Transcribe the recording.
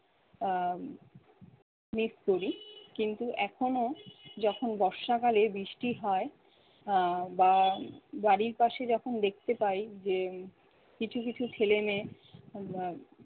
আহ miss করি। কিন্তু এখনো যখন বর্ষাকালে বৃষ্টি হয় আহ বা বাড়ির পাশে যখন দেখতে পাই যে কিছু কিছু ছেলে মেয়ে আহ